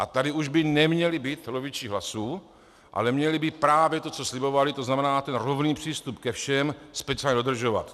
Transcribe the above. A tady už by neměli být loviči hlasů, ale měli by právě to, co slibovali, to znamená ten rovný přístup ke všem, speciálně dodržovat.